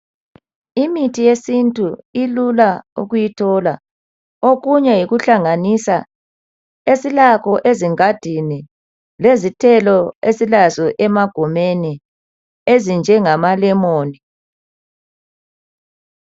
Imithi yesintu ilula ukuyithola, okunye yikuhlanganisa esilakho ezigandini, lezithelo esilazo emagumeni, ezinje ngamalemoni.